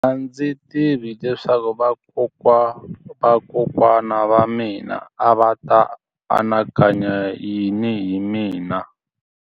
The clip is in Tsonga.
A ndzi tivi leswaku vakokwana-va-vakokwana va mina a va ta anakanya yini hi mina.